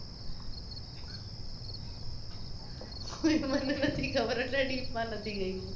એ મને નથી ખબર એટલુ deep માં નથી ગઈ હું